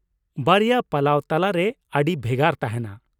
ᱵᱟᱨᱭᱟ ᱯᱟᱞᱟᱣ ᱛᱟᱞᱟᱨᱮ ᱟᱹᱰᱤ ᱵᱷᱮᱜᱟᱨ ᱛᱟᱦᱮᱱᱟ ᱾